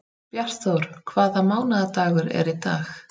Bjartþór, hvaða mánaðardagur er í dag?